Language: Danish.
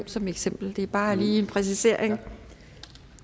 som eksempel det var bare lige til en præcisering